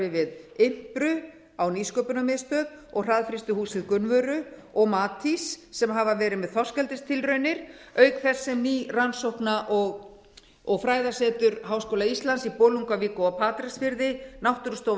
við impru á nýsköpunarmiðstöð og hraðfrystihúsið gunnvöru og matís sem hafa verið með þorskeldistilraunir auk þess sem ný rannsókna og fræðasetur háskóla íslands í bolungarvík og á patreksfirði náttúrustofa